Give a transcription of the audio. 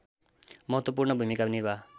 महत्त्वपूर्ण भूमिका निर्वाह